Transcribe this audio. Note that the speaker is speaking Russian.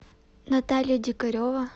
наталья дикарева